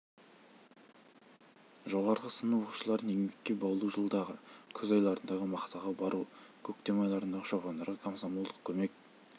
жоғарғы сынып оқушыларын еңбекке баулу жылдағы күз айларындағы мақтаға бару көктем айларындағы шопандарға комсомолдық көмек